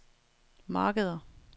markeder